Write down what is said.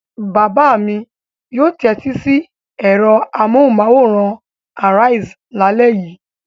Bàbá mi yóò tẹ́tí sí ẹ̀rọ amóhùmáwòhán Arise lálẹ́ yìí.